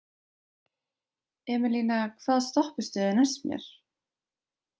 Emelína, hvaða stoppistöð er næst mér?